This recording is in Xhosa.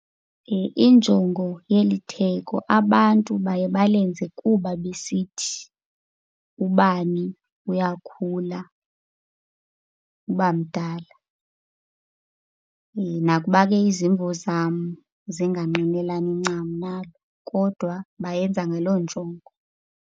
Injongo yeli theko, abantu baye balenze kuba besithi ubani uyakhula uba mdala. Nakuba ke izimvo zam zingangqinelani ncam nalo kodwa bayenza ngaloo njongo.